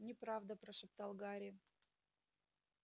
неправда прошептал гарри